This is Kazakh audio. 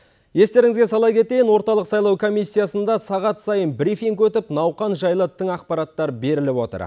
естеріңізге сала кетейін орталық сайлау комиссиясында сағат сайын брифинг өтіп науқан жайлы тың ақпараттар беріліп отыр